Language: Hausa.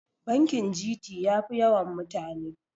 bakin gt ya Fi yawan mutane